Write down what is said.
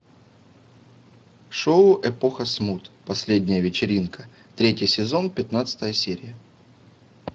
шоу эпоха смут последняя вечеринка третий сезон пятнадцатая серия